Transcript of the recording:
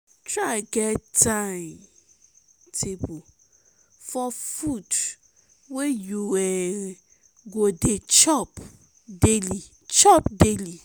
try get time-table for fud wey yu um go dey chop daily chop daily